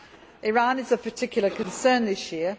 Iran is of particular concern this year.